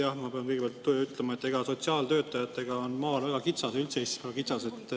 Jah, ma pean kõigepealt ütlema, et sotsiaaltöötajatega on maal väga kitsas, üldse Eestis väga kitsas.